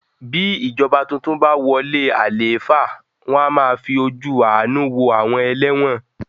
Bí ìjọba tuntun bàa wọlé àlééfà, wọn a máa fí ojú àánú wo àwọn ẹlẹ́wọ̀n